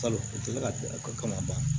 Kalo tɛla ko kama